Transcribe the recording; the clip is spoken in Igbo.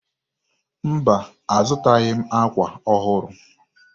Mba, azụtaghị m ákwà ọhụrụ.